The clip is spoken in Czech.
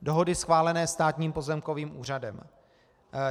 Dohody schválené Státním pozemkovým úřadem.